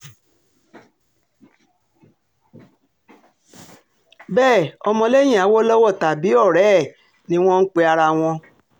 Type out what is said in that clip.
bẹ́ẹ̀ ọmọlẹ́yìn awolowo tàbí ọ̀rẹ́ ẹ̀ ni wọ́n ń pe ara wọn